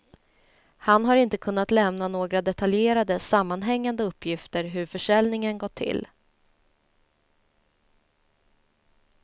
Han har inte kunnat lämna några detaljerade, sammanhängande uppgifter hur försäljningen gått till.